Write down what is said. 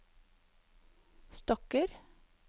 stokker